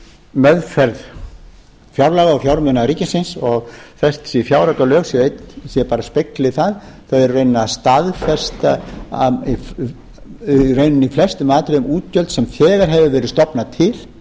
meðferð fjárlaga og fjármuna ríkisins og þessi fjáraukalög bara spegli það þau eru í rauninni að staðfesta í flestum atriðum útgjöld sem þegar hefur verið stofnað til